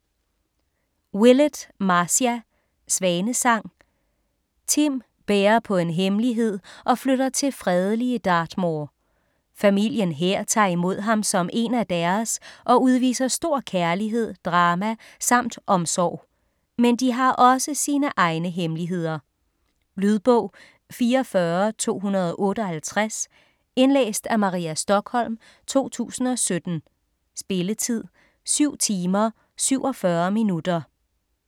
Willett, Marcia: Svanesang Tim bærer på en hemmelighed og flytter til fredelige Dartmoor. Familien her tager imod ham som én af deres og udviser stor kærlighed, drama samt omsorg. Men de har også sine egne hemmeligheder. Lydbog 44258 Indlæst af Maria Stokholm, 2017. Spilletid: 7 timer, 47 minutter.